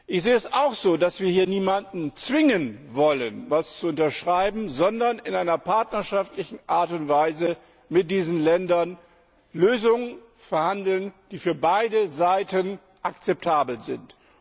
Ich sehe es auch so, dass wir hier niemanden zwingen dürfen, etwas zu unterschreiben, sondern in einer partnerschaftlichen Art und Weise mit diesen Ländern Lösungen verhandeln müssen, die für beide Seiten akzeptabel sind.